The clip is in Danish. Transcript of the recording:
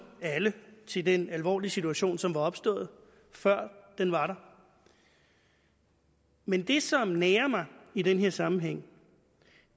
alle til den alvorlige situation som var opstået før den var der men det som nager mig i den her sammenhæng